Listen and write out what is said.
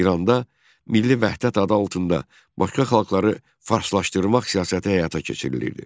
İranda milli vəhdət adı altında başqa xalqları farslaşdırmaq siyasəti həyata keçirilirdi.